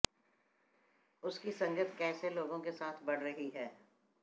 उसकी संगत कैसे लोगों के साथ बढ़ रही है